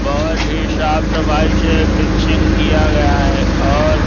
बहोत ही साफ सफाई से फिनिशिंग किया गया है और--